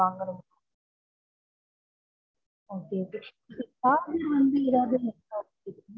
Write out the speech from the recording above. வாங்கணும் okay, okay charger வந்து ஏதாவது இருக்கா